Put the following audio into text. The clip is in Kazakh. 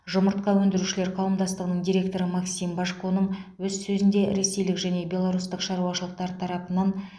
жұмыртқа өндірушілер қауымдастығының директоры максим божконың өз сөзінде ресейлік және беларустық шаруашылықтар тарапынан